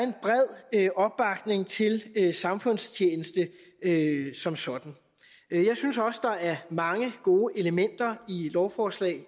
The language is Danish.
en bred opbakning til samfundstjeneste som sådan jeg synes også at der er mange gode elementer i lovforslag